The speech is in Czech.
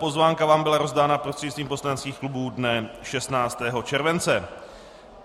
Pozvánka vám byla rozdána prostřednictvím poslaneckých klubů dne 16. července.